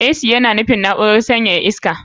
Ac yana nufin na'urar sanyaya iska.